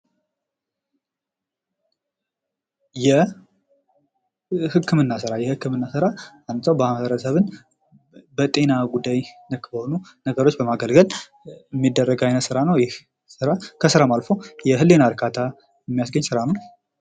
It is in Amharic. የህክምና ስራ፡- የህክምና ስራ አንድን ማህበረሰብን በጤና ጉዳይ ነክ በሆኑ ነገሮች በማገልገል የሚደረግ አይነት ስራ ነው። ይህ ከስራም አልፎ የህሊና እርካታ የሚያስገኝ ስራ ነው።